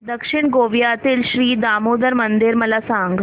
दक्षिण गोव्यातील श्री दामोदर मंदिर मला सांग